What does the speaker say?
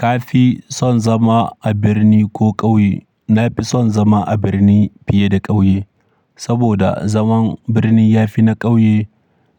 Kafi son zama a birni ko ƙauye? Na fi son zama a birni fiye da ƙauye, saboda zaman birni ya fi na ƙauye